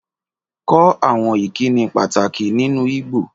Kọ́ àwọn ìkíni pàtàkì nínú Igbo